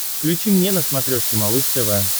включи мне на смотрешке малыш тв